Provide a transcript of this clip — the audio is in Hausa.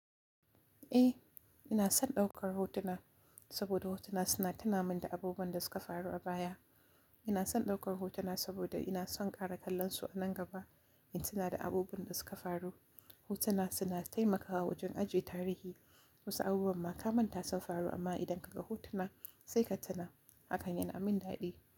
Eh, ina son ɗaukar hotuna saboda hotuna suna tunamin da abubuwan da suka faru a baya. Ina son ɗaukar hotuna saboda ina son ƙara kallon su a nan gaba, in suna da abubuwan da suka faru. Hotuna suna taimakawa wajen ajiye tarihi. Wasu abubuwan ma ka manta sun faru amma idan ka ga hotuna sai ka tuna. Hakan yana min daɗi.